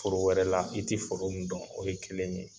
Foro wɛrɛ la i tɛ foro min dɔn o ye kelen ye.